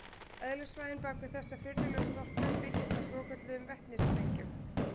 Eðlisfræðin bak við þessa furðulegu storknun byggist á svokölluðum vetnistengjum.